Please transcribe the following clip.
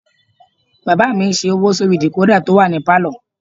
Bàbá mi ṣe owó sórí dìkódà tó wà ní pálọ̀